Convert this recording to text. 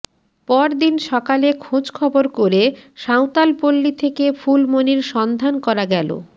পরদিন সকালে খোঁজ খবর করে সাঁওতাল পল্লী থেকে ফুলমণির সন্ধান করা গেলো